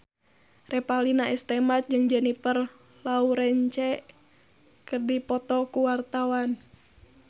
Revalina S. Temat jeung Jennifer Lawrence keur dipoto ku wartawan